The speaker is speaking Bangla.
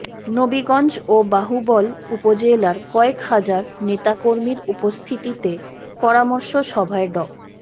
নবীগঞ্জ ও বাহুবল উপজেলার কয়েক হাজার নেতাকর্মীর উপস্থিতিতে পরামর্শ সভায় ড